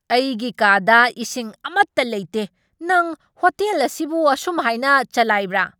ꯑꯩꯒꯤ ꯀꯥꯗ ꯏꯁꯤꯡ ꯑꯃꯠꯇ ꯂꯩꯇꯦ! ꯅꯪ ꯍꯣꯇꯦꯜ ꯑꯁꯤꯕꯨ ꯑꯁꯨꯝ ꯍꯥꯏꯅ ꯆꯂꯥꯏꯕ꯭ꯔꯥ?